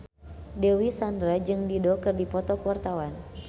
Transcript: Dewi Sandra jeung Dido keur dipoto ku wartawan